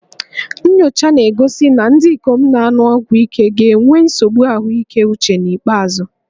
Nnyocha na-egosi na ndị ikom na-aṅụ ọgwụ ike ga-enwe nsogbu ahụike uche n'ikpeazụ